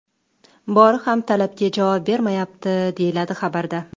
Bori ham talabga javob bermayapti”, deyiladi xabarda.